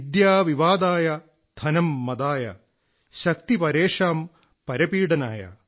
വിദ്യാ വിവാദായ ധനം മദായ ശക്തി പരേഷാം പരപീഡനായ